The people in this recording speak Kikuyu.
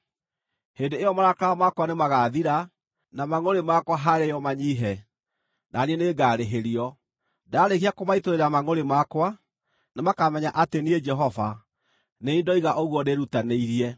“Hĩndĩ ĩyo marakara makwa nĩmagathira, na mangʼũrĩ makwa harĩo manyiihe, na niĩ nĩngarĩhĩrio. Ndaarĩkia kũmaitũrũrĩra mangʼũrĩ makwa, nĩmakamenya atĩ niĩ Jehova, nĩ niĩ ndoiga ũguo ndĩĩrutanĩirie.